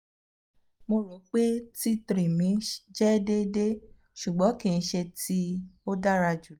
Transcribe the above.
mo ro pe t three mi jẹ deede ṣugbọn kii ṣe ti o dara julọ